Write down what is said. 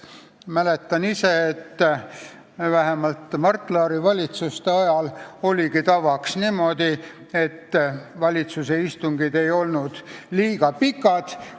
Mäletan, et vähemalt Mart Laari valitsuste ajal oli niimoodi ja valitsuse istungid ei olnud liiga pikad.